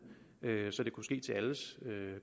så det kunne ske til